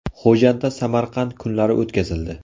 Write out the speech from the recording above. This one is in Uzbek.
Xo‘jandda Samarqand kunlari o‘tkazildi.